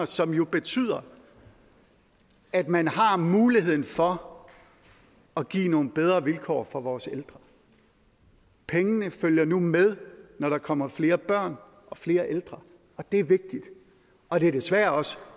som jo betyder at man har muligheden for at give nogle bedre vilkår for vores ældre pengene følger nu med når der kommer flere børn og flere ældre og det er vigtigt og det er desværre også